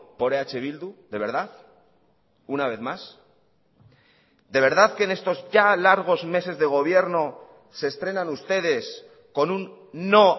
por eh bildu de verdad una vez más de verdad que en estos ya largos meses de gobierno se estrenan ustedes con un no